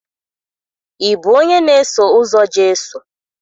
Ị bụ onye na-eso ụzọ Jesu?